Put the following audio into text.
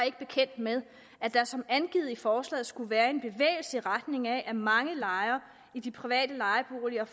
ikke bekendt med at der som angivet i forslaget skulle være en bevægelse i retning af at mange lejere i de private lejeboliger